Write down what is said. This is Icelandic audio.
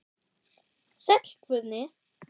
Sæll Guðni.